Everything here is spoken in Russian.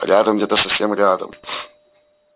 рядом где-то совсем рядом